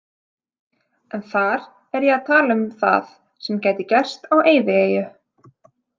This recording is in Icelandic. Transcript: En þar er ég að tala um það sem gæti gerst á eyðieyju.